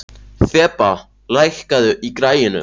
Þeba, lækkaðu í græjunum.